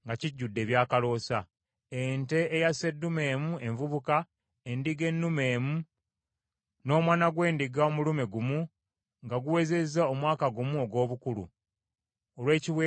ente eya sseddume emu envubuka, endiga ennume emu, n’omwana gw’endiga omulume gumu nga guwezezza omwaka gumu ogw’obukulu, olw’ekiweebwayo ekyokebwa;